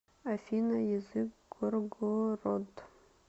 афина язык горгород